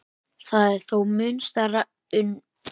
Það er þó mun stærra ummáls en safnahúsið.